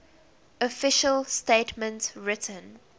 official statement written